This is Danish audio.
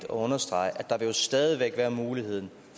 understrege at der stadig er mulighed